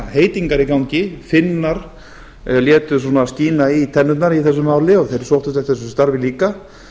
heitingar í gangi finnar létu skína í tennurnar í þessu máli og þeir sóttu eftir þessu starfi líka